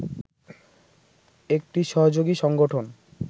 একটি সহযোগী সংগঠন